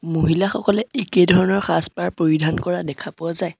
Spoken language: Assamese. মহিলাসকলে একে ধৰণৰ সাজ-পাৰ পৰিধান কৰা দেখা পোৱা যায়।